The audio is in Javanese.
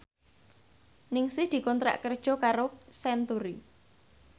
Ningsih dikontrak kerja karo Century